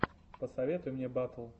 посоветуй мне батл